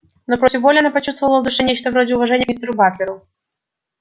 но против воли она почувствовала в душе нечто вроде уважения к мистеру батлеру